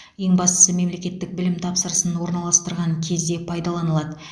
ең бастысы мемлекеттік білім тапсырысын орналастырған кезде пайдаланылады